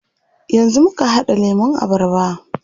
Yanzu muka haɗa lemun abarba.